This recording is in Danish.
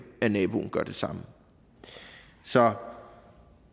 at naboen gør det samme så